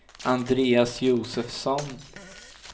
Andreas Josefsson